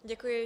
Děkuji.